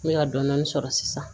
N bɛ ka dɔɔnin dɔɔnin sɔrɔ sisan